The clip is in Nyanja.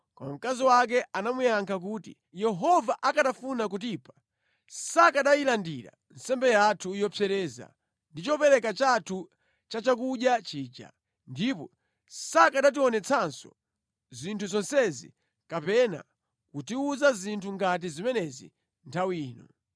Koma mkazi wake anamuyankha kuti, “Yehova akanafuna kutipha sakanayilandira nsembe yathu yopsereza ndi chopereka chathu chachakudya chija, ndipo sakanationetsanso zinthu zonsezi kapena kutiwuza zinthu ngati zimenezi nthawi ino.”